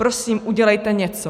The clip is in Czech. Prosím, udělejte něco."